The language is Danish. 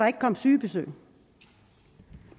ikke komme sygebesøg